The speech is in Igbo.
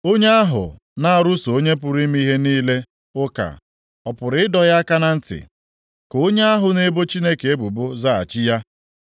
“Onye ahụ na-arụso Onye pụrụ ime ihe niile ụka ọ pụrụ ịdọ ya aka na ntị? Ka onye ahụ na-ebo Chineke ebubo zaghachi ya.”